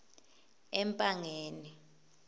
empangeni